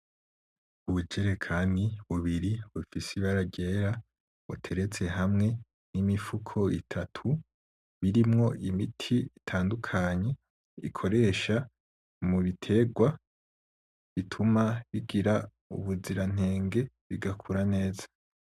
Ubujerekani bubiri bufise ibara ryera buteretse hamwe n'imifuko itatu irimwo imiti ikoresha mu biterwa ituma bigira ubuzirantenge bituma ikura neza.